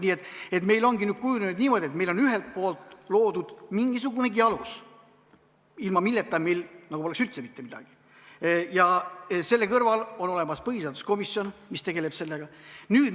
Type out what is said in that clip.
Nii et meil ongi nüüd kujunenud niimoodi, et meil on ühelt poolt loodud mingisugunegi alus, ilma milleta meil poleks üldse mitte midagi, ja selle kõrval on olemas põhiseaduskomisjon, mis sellega tegeleb.